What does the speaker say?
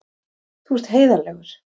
Þú ert heiðarlegur.